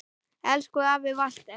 Elsku afi Walter.